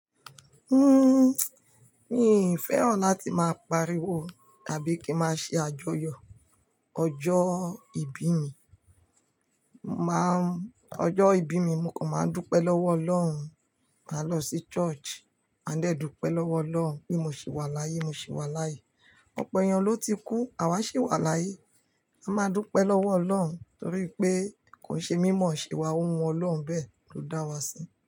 Mi fẹ́ràn láti máa pariwo tàbí kí máa ṣe àjọyọ̀ ọjọ́ ìbí mi. Máa n, ọjọ́ ìbí mi, mo kàn máa ń dúpẹ́ lọ́wọ́ Ọlọ́run, máa lọ sí church, máa ń dẹ́dúpẹ́ lọ́wọ́ Ọlọ́run pé mo sì wà láyé, mo sì wà láyé. Ọ̀pọ̀ èèyàn ló ti kú, àwa sì wà láyé. A máa dúpẹ́ lọ́wọ́ Ọlọ́run torí pé ko n ṣe mímọ̀ ṣewa ohun Ọlọ́run bẹ́ẹ̀ ló dá wa sí.